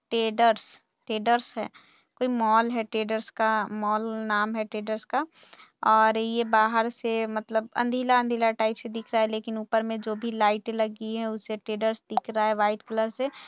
टैडर्स traders है कोई mall है टैडर्स का मॉल नाम है टैडर्स का और ये बाहर से मतलब अंधेरा अंधेरा टाइपस् से दिख रहा है लेकिन ऊपर में जो भी लाइट लगी है उससे टैडर्स दिख रहा है व्हाइट कलर से--